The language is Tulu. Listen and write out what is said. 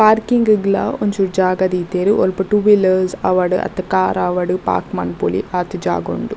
ಪಾರ್ಕಿಂಗ್ ಗ್ಲ ಒಂಚುರು ಜಾಗ ದೀತೆರ್ ಒಲ್ಪ ಟೂ ವೀಲರ್ಸ್ ಆವಡ್ ಅತ್ತ್ ಕಾರ್ ಆವಡ್ ಪಾರ್ಕ್ ಮನ್ಪೊಲಿ ಆತ್ ಜಾಗ್ ಉಂಡು.